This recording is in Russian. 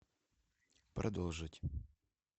продолжить